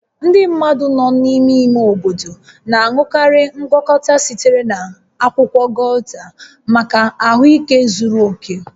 Ndị mmadụ nọ n'ime ime obodo na-aṅụkarị ngwakọta sitere na akwụkwọ gauta maka ahụike zuru oke